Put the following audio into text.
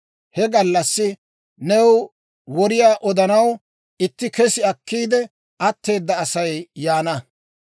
He gallassi new woriyaa odanaw itti kessi akkiide atteeda Asay yaana.